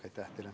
Aitäh teile!